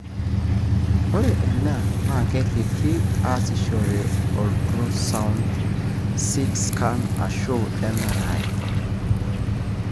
ore ena na keripi easishore ultrasound Ctscan ashu MRI.